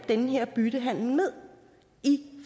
den her byttehandel med i